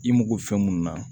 I mago fɛn mun na